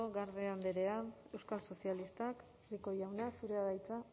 garde andrea euskal sozialistak rico jauna zurea da hitza